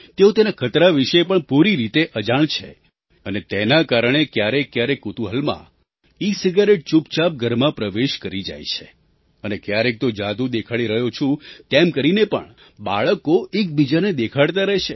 તેઓ તેના ખતરા વિશે પણ પૂરી રીતે અજાણ છે અને તેના કારણે ક્યારેકક્યારેક કુતૂહલમાં ઇસિગારેટ ચૂપચાપ ઘરમાં પ્રવેશ કરી જાય છે અને ક્યારેક તો જાદુ દેખાડી રહ્યો છું તેમ કરીને પણ બાળકો એકબીજાને દેખાડતા રહે છે